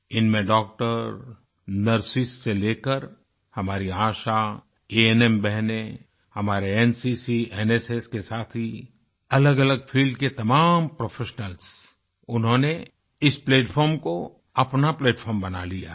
इनमें doctor nurses से लेकर हमारी आशा अन्म बहनें हमारे एनसीसी एनएसएस के साथी अलगअलग फील्ड के तमाम प्रोफेशनल्स उन्होंने इस प्लैटफार्म को अपना प्लैटफार्म बना लिया है